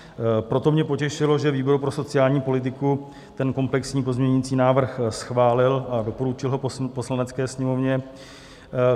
Proto mě potěšilo, že výbor pro sociální politiku ten komplexní pozměňovací návrh schválil a doporučil ho Poslanecké sněmovně.